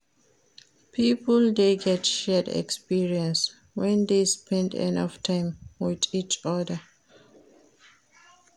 Pipo de get shared experience when de spend enough time with each other